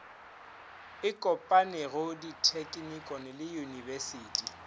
e kopanego dithekinikone le uiyunibesithi